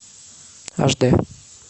аш дэ